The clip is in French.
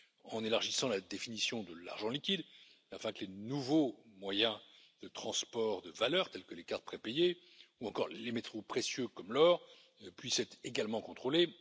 en élargissant la définition de l'argent liquide afin que les nouveaux moyens de transport de valeurs, tels que les cartes prépayées ou encore les métaux précieux comme l'or, puissent être également contrôlés